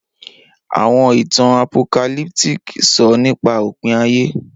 Awọn itan Apocalyptic sọ nipa opin aye.